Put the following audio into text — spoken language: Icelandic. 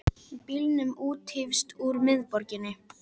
Bílum úthýst úr miðborginni